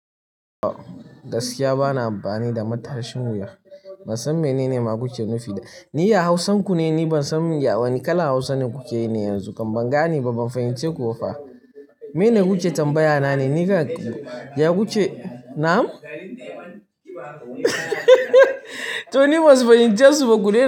Gaskiya bana amfani da matashin wuya. Ban san menene ma kuke nufi da ni, ya Hausanku ne? Ni ban san wani kalan Hausa ne kuke yi ne yanzu. Kam ban gane ba, ban fahimce ku ba fa. Mene kuke tambaya nane? Ni ka, ya kuke na'am? To ni basu fahimce su ba ku dai.